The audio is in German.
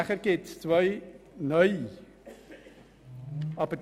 Dann gibt es zwei neue Artikel.